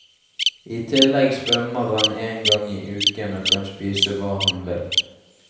I tillegg svømmer han en gang i uken og kan spise hva han vil.